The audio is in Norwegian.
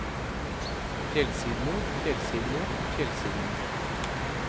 fjellsidene fjellsidene fjellsidene